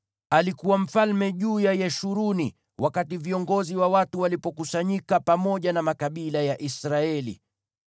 Alikuwa mfalme juu ya Yeshuruni wakati viongozi wa watu walipokusanyika, pamoja na makabila ya Israeli.